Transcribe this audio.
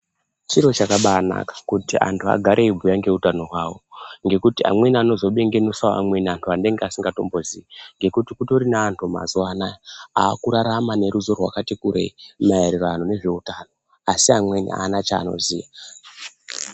Chiro chakabanaka kuti antu agare ayibhuya nezveutano hwavo. Ngekuti amweni anozo bengenutsawo amweni anhu anenge asingatimbozivi ngekuti kutori neanhu mazuvano aya ava kurarama neruzivo rwakati kurei maererano nezveutano asi amweni haana chaanoziya.